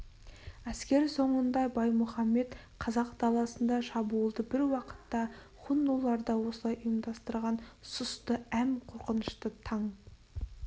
әскер соңында баймұхаммед қазақ даласында шабуылды бір уақытта хуннулар да осылай ұйымдастырған сұсты әм қорқынышты таң